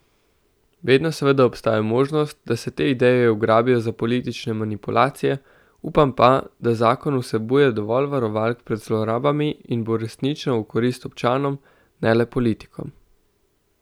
Vedno seveda obstaja možnost, da se te ideje ugrabijo za politične manipulacije, upam pa, da zakon vsebuje dovolj varovalk pred zlorabami in bo resnično v korist občanom, ne le politikom.